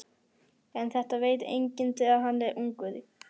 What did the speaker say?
En þetta veit enginn þegar hann er ungur.